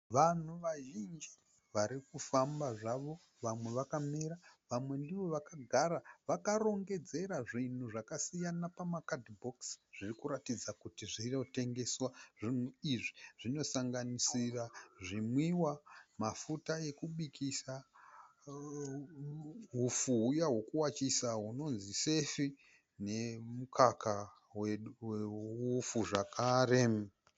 Vanhu vazhinji varikufamba zvavo. Vamwe vakamira vamwe ndivo vakagara vakarongedzera zvinhu zvakasiyana pama kadhibokisi zvirikuratidza kuti zvinotengeswa. Zvinhu izvi zvinosanganisira zvimwiwa, mafuta ekubikisa, hupfu huya wekuwachisa unonzi sefi, nemukaka we upfu zvekare.